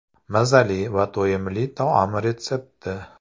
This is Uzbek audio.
Mazali va to‘yimli taom retsepti.